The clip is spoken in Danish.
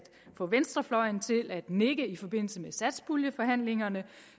få venstrefløjen til at nikke i forbindelse med satspuljeforhandlingerne